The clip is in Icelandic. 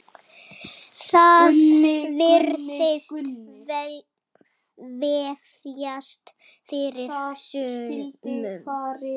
Það virðist vefjast fyrir sumum.